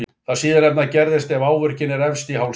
Það síðastnefnda gerist ef áverkinn er efst í hálsi.